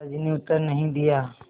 दादाजी ने उत्तर नहीं दिया